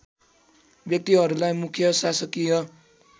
व्यक्तिहरूलाई मुख्य शासकीय